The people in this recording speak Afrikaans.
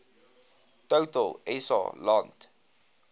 total sa land